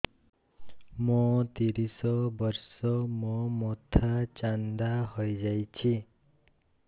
ମୋ ତିରିଶ ବର୍ଷ ମୋ ମୋଥା ଚାନ୍ଦା ହଇଯାଇଛି